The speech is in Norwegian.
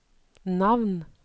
navn